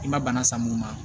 I ma bana san mun ma